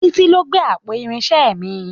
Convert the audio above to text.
Títí ló gbé àpò irinṣẹ́ mi.